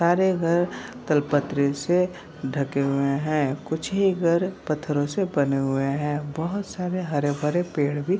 सारे घर तालपत्रे से ढके हुए हैं | कुछ ही घर पत्थरों से बने हुए हैं | बहुत सारे हरे भरे पेड़ भी --